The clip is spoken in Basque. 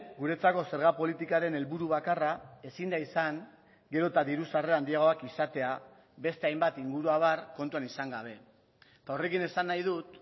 guretzako zerga politikaren helburu bakarra ezin da izan gero eta diru sarrera handiagoak izatea beste hainbat inguruabar kontuan izan gabe eta horrekin esan nahi dut